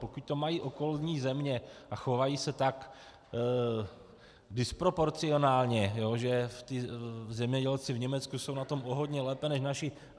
Pokud to mají okolní země a chovají se tak disproporcionálně, že ti zemědělci v Německu jsou na tom o hodně lépe než naši.